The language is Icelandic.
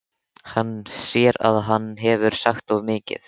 Hann sér að hann hefur sagt of mikið.